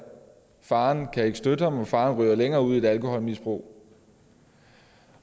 faren kan ikke støtte ham og faren ryger længere ud i et alkoholmisbrug